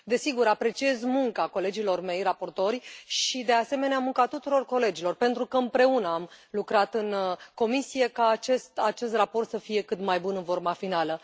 Desigur, apreciez munca colegilor mei raportori și, de asemenea, munca tuturor colegilor, pentru că împreună am lucrat în comisie ca acest raport să fie cât mai bun în forma finală.